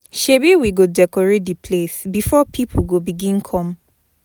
Shebi we go decorate di place before pipo go begin come.